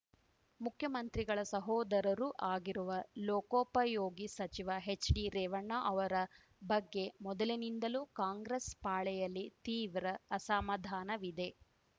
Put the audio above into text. ಮುಖ್ಯಮಂತ್ರಿಗಳ ಸಹೋದರರೂ ಆಗಿರುವ ಲೋಕೋಪಯೋಗಿ ಸಚಿವ ಹೆಚ್‌ಡಿರೇವಣ್ಣ ಅವರ ಬಗ್ಗೆ ಮೊದಲಿನಿಂದಲೂ ಕಾಂಗ್ರೆಸ್‌ ಪಾಳೆಯಲ್ಲಿ ತೀವ್ರ ಅಸಮಾಧಾನವಿದೆ